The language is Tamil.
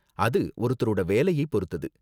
அது ஒவ்வொருத்தரோட வேலையை பொருத்தது.